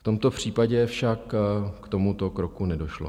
V tomto případě však k tomuto kroku nedošlo.